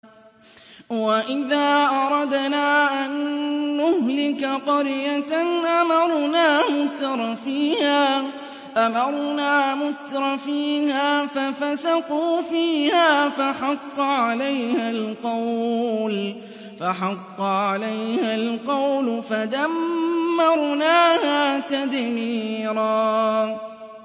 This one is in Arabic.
وَإِذَا أَرَدْنَا أَن نُّهْلِكَ قَرْيَةً أَمَرْنَا مُتْرَفِيهَا فَفَسَقُوا فِيهَا فَحَقَّ عَلَيْهَا الْقَوْلُ فَدَمَّرْنَاهَا تَدْمِيرًا